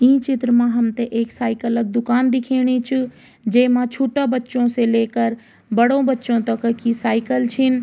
ई चित्र मा हमथे एक साइकिल क दुकान दिखेणी च जेमा छुट्टा बच्चों से लेकर बड़ो बच्चों तक की साइकिल छिन।